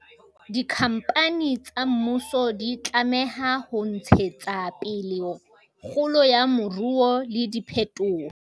Dikhampani tsa mmuso di tlameha ho ntshetsa pele kgolo ya moruo le diphetoho